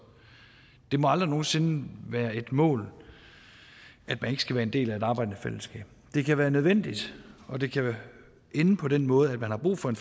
det må aldrig nogen sinde være et mål at man ikke skal være en del af et arbejdende fællesskab det kan være nødvendigt og det kan ende på den måde at man har brug for en